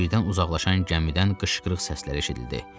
Birdən uzaqlaşan gəmidən qışqırıq səsləri eşidildi.